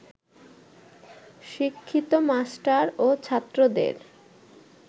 শিক্ষিত মাস্টার ও ছাত্রদের